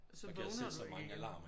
Så vågner du ikke igen